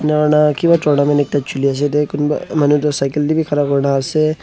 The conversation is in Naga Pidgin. eniahuina kiba kunba manu toh cycle tey bi khara kurina ase.